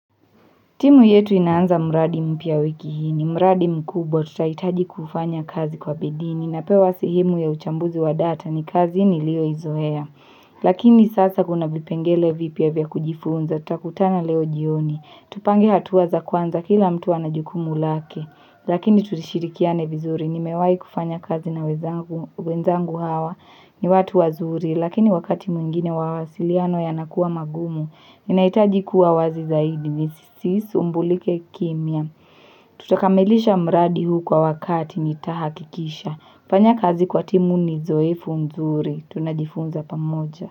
Timu yetu inaanza mradi mpya wiki hii, ni mradi mkubwa tutahitaji kufanya kazi kwa bidii ninapewa sehemu ya uchambuzi wa data ni kazi nilio izoea. Lakini sasa kuna vipengele vipya vya kujifunza, tutakutana leo jioni, tupange hatua za kwanza kila mtu anajukumu lake. Lakini tulishirikiane vizuri, nimewahi kufanya kazi na wenzangu hawa ni watu wazuri, lakini wakati mwingine mawasiliano yanakuwa magumu, ni nahitaji kuwa wazi zaidi ni sisumbulike kimya. Tutakamilisha mradi huu kwa wakati ni tahakikisha. Kufanya kazi kwa timu ni zoefu nzuri. Tunajifunza pamoja.